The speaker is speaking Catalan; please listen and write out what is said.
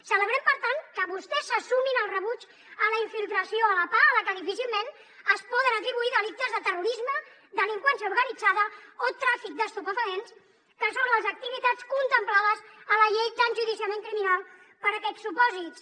celebrem per tant que vostès se sumin al rebuig a la infiltració a la pah a la que difícilment es poden atribuir delictes de terrorisme delinqüència organitzada o tràfic d’estupefaents que són les activitats contemplades a la llei d’enjudiciament criminal per a aquests supòsits